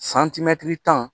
Santimɛtiri tan